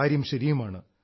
കാര്യം ശരിയുമാണ്